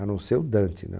A não ser o Dante, né?